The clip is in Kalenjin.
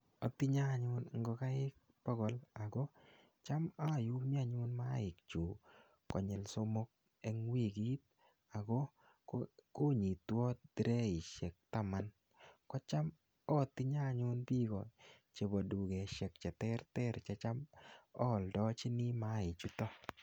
atinye ngokaik bokol ako chom ayumi mayaik somok eng wikit. ko cham atinye anyun bik che terter che bo dukoshiek che cham aaldachini mayaik chuto